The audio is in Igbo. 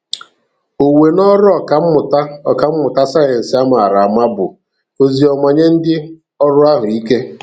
Owuwe n'ọrụ Ọkammụta Ọkammụta sayensị a mara ama bụ ozi ọma nye ndị ọrụ ahụ ike.